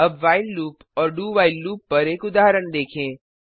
अब while loop और do while loop पर एक उदाहरण देखें